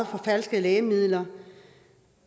forfalskede lægemidler